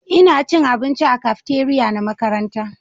Ina cin abinci a cafeteria na makaranta